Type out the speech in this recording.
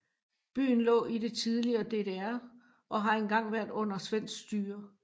Byen lå i det tidligere DDR og har engang været under svensk styre